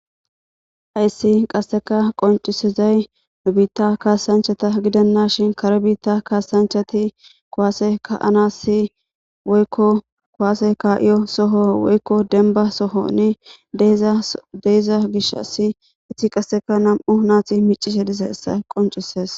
Hayssi qasseka qoncisizay nu biitta kaasanchata gidanna shin kare biitta kaasanchati kowaase ka anassi woykko kowaase ka7iyo soho woykko denba sohonne deiza gish assi itti qasseka nam7u naati micise disessa qoncises.